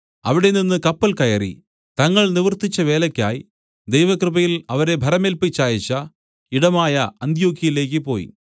അവിടെനിന്ന് കപ്പൽ കയറി തങ്ങൾ നിവർത്തിച്ച വേലയ്ക്കായി ദൈവകൃപയിൽ അവരെ ഭരമേല്പിച്ചയച്ച ഇടമായ അന്ത്യൊക്യയിലേക്ക് പോയി